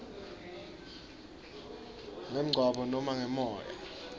ngemgwaco nobe ngemoya